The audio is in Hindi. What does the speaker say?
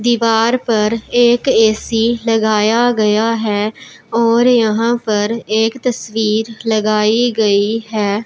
दीवार पर एक ए_सी लगाया गया है और यहां पर एक तस्वीर लगाई गई है।